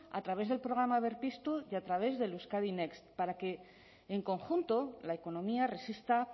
a través del programa berpiztu y a través del euskadi next para que en conjunto la economía resista